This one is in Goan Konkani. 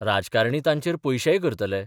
राजकारणी तांचेर पयशेय करतले.